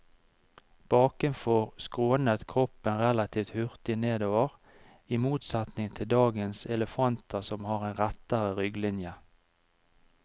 Bakenfor skrånet kroppen relativt hurtig nedover, i motsetning til dagens elefanter som har en rettere rygglinje.